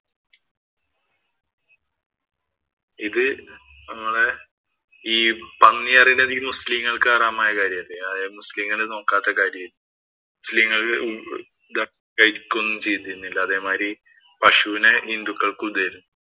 ഇത് നമ്മടെ പന്നി എന്ന് പറയുന്നത് മുസ്ലീങ്ങള്‍ക്ക് ഹറാം ആയ കാര്യം അല്ലേ. മുസ്ലീങ്ങള്‍ നോക്കാത്ത കാര്യം ആണ്. മുസ്ലിങ്ങള്‍ കഴിക്കുകയും ഒന്നും ചെയ്തിരുന്നില്ല. അതേമാതിരി പശുവിനെ ഹിന്ദുക്കള്‍ക്കും ഇതായിരുന്നു.